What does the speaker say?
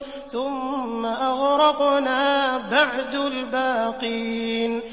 ثُمَّ أَغْرَقْنَا بَعْدُ الْبَاقِينَ